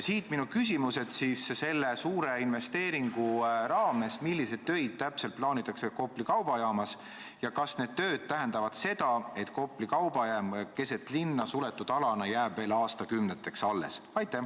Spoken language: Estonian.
Siit minu küsimus: täpselt milliseid töid selle suure investeeringu raames plaanitakse teha Kopli kaubajaamas ja kas need tööd tähendavad seda, et Kopli kaubajaam jääb keset linna asuva suletud alana veel aastakümneteks alles?